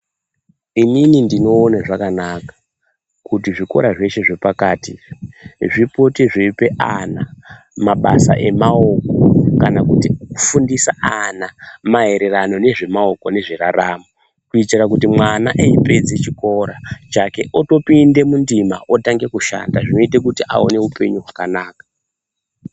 Inini ndinoone zvakanaka kuti zvikora zveshe zvepakati zvipote zveipe ana zvidzidzo zemabasa emaoko kuti mwana apedza chikora otopinda mundima otoshanda kuti aite upenyu wakanaka.